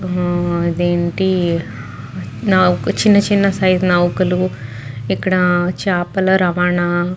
అదేంటి చిన్న చిన్న నౌకలు ఇక్కడ చేపల రవాణా.--